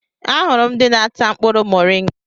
Ahụrụ m ndị na-ata mkpụrụ moringa.